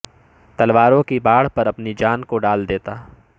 تلواروں کی باڑھ پر اپنی جان کو ڈال دیتا